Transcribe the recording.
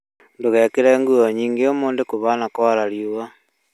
Ndũgekĩre nguo nyingĩ ũmũthĩ kũhana kwara riũa